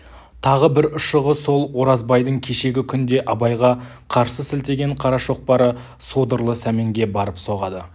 тағы бір ұшығы сол оразбайдың кешегі күнде абайға қарсы сілтеген қара шоқпары содырлы сәменге барып соғады